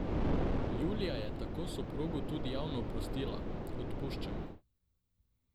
Julija je tako soprogu tudi javno oprostila: 'Odpuščam mu.